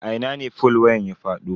A ina ne fol wayan ya fado.